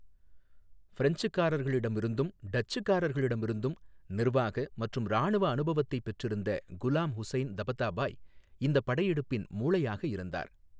பிரெஞ்சுக்காரர்களிடமிருந்தும் டச்சுக்காரர்களிடமிருந்தும் நிர்வாக மற்றும் இராணுவ அனுபவத்தைப் பெற்றிருந்த குலாம் ஹுசைன் தபதாபாய் இந்தப் படையெடுப்பின் மூளையாக இருந்தார்.